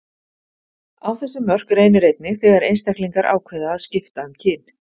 Á þessi mörk reynir einnig þegar einstaklingar ákveða að skipta um kyn.